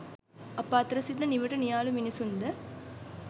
අප අතර සිටින නිවට නියාලු මිනිසුන්ද